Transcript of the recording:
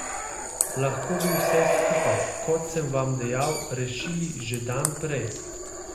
Lahko bi vse skupaj, kot sem vam dejal, rešili že dan prej.